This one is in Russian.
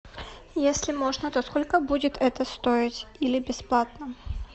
если можно то сколько будет это стоить или бесплатно